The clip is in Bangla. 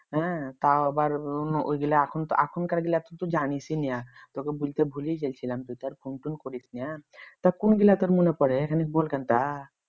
হ্যাঁ তাও আবার অন্য ওইগুলা এখন এখনকার গুলা তো তো জানিস না তোকে বলতে ভুলে গেলছিলাম তুই তো আর ফোন টোন করিস না তা তোর কোনগুলা মনে পড়ে খানিক বলকানতা